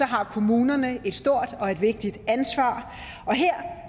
har kommunerne et stort og vigtigt ansvar her